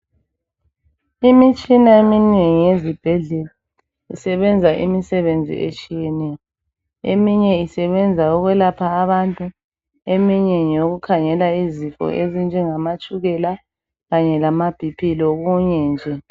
Imitshina eminengi ezibhedlela isebenza imisebenzi etshiyeneyo, eminye isebenza ukwelapha abantu eminye ngeyokukhangela izifo ezinjengamatshukela, kanye lamaB.P lokunye nje.